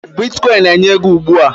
Bitkọịn na-enye ego ugbua